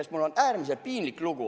Sest mul on äärmiselt piinlik lugu.